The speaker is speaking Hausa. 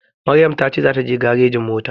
Maryam ta ce za ta je garejin mota